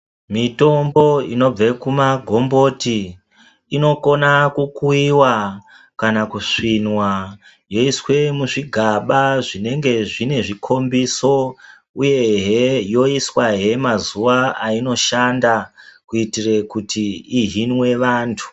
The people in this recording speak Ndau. Mitombo inobva kumagomboti inokona kukuiwa kana kusvinwa yoiswe muzvigaba zvinenge zvine zvikhombiso uye heee yoiswahee mazuwa ainoshanda kuitire kuti ihinwe vantu.